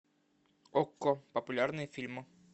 окко популярные фильмы